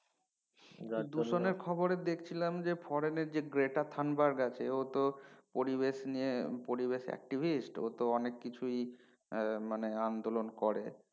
দূষনের খবরে দেখছিলাম যে Foreign যেঁ গেটা থাম্বাবারট আছে ও তো পরিবেশ নিয়ে পরিবেশ activist ও তো অনেক কিছুই আহ মানে আন্দোলন করে